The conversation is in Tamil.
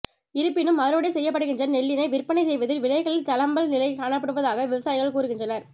இருப்பினும் அறுவடை செய்யப்படுகின்ற நெல்லினை விற்பனை செய்வதில் விலைகளில் தளம்பல் நிலை காணப்படுவதாக விவசாயிகள் கூறுகின்றனர்